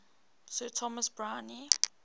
sir thomas browne